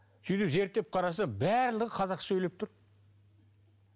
сөйтіп зерттеп қарасам барлығы қазақша сөйлеп тұр